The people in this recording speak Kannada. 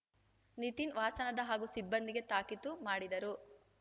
ನಿತಿನ್ ವಾಸನದ ಹಾಗೂ ಸಿಬ್ಬಂದಿಗೆ ತಾಕೀತು ಮಾಡಿದರು